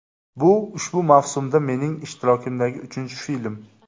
Bu ushbu mavsumda mening ishtirokimdagi uchinchi film.